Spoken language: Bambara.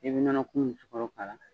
I bi nɔnɔkumun ni sugɔro k'a la